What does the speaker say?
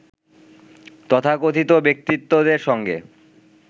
তথাকথিত ব্যক্তিত্বদের সঙ্গে